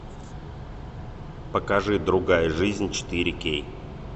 покажи другая жизнь четыре кей